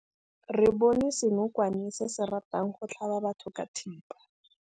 Re bone senokwane se se ratang go tlhaba batho ka thipa.